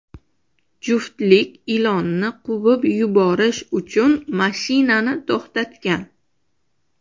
Juftlik ilonni quvib yuborish uchun mashinani to‘xtatgan.